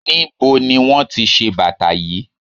Níbo ni wón ti bàtà yí?